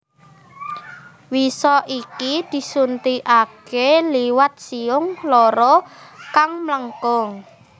Wisa iki disuntikake liwat siung loro kang mlengkung